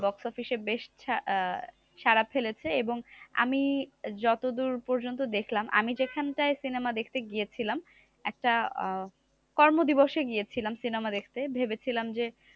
Box office এ বেশ আহ সারা ফেলেছে। এবং আমি যতদূর পর্যন্ত দেখলাম, আমি যেখান টায় cinema দেখতে গিয়েছিলাম, একটা আহ কর্মদিবসে গিয়েছিলাম cinema দেখতে ভেবেছিলাম যে,